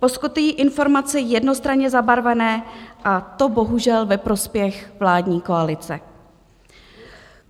Poskytují informace jednostranně zabarvené, a to bohužel ve prospěch vládní koalice.